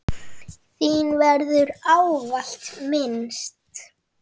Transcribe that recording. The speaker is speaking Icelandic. Þín verður ávallt minnst.